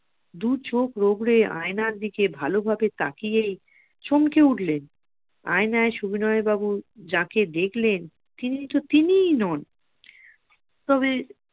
দুচোখ রোগরে আয়নার দিকে ভালোভাবে তাকিয়েই চমকে উঠলে সুবিনয় বাবু যাকে দেখলেন তিনি তো তিনিই নন তবে